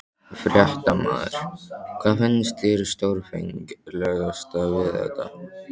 Fréttamaður: Hvað finnst þér stórfenglegast við þetta?